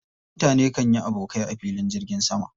Mutane kan yi abokai a filin jirgin zama.